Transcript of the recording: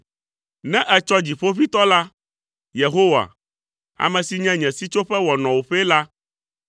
Ne ètsɔ Dziƒoʋĩtɔ la, Yehowa, ame si nye nye sitsoƒe wɔ nɔwòƒee la,